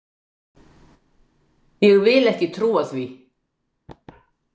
Ég vil ekki trúa því.